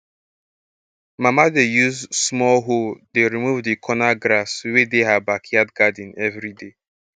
mama dey use small hoe dey remove di corner grass wey dey her backyard garden every day